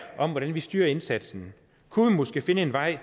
om hvordan vi styrer indsatsen kunne vi måske finde en vej